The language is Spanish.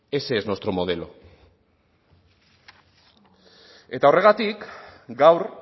ese es nuestro modelo eta horregatik gaur